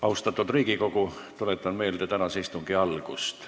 Austatud Riigikogu, tuletan meelde tänase istungi algust.